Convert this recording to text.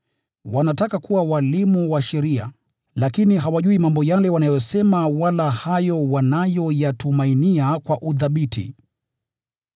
wanataka kuwa walimu wa sheria, lakini hawajui mambo yale wanayosema wala hayo wanayoyatumainia kwa uthabiti.